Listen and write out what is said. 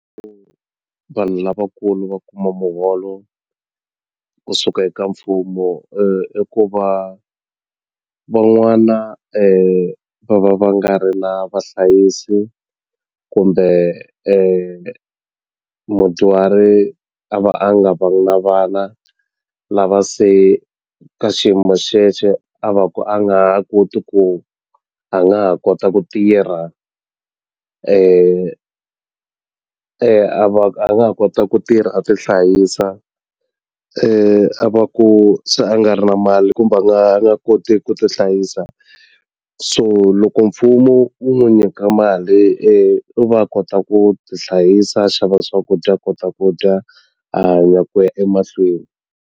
vanhu lavakulu va kuma muholo kusuka eka mfumo i ku va van'wana va va va nga ri na vahlayisi kumbe mudyuhari a va a nga vangi na vana lava se ka xiyimo xexo a va ku a nga ha koti ku a nga ha kota ku tirha a va a nga ha kota ku tirha a ti hlayisa a va ku se a nga ri na mali kumbe a nga a nga koti ku ti hlayisa so loko mfumo wu n'wi nyika mali u va a kota ku ti hlayisa a xava swakudya a kota ku dya a hanya ku ya emahlweni.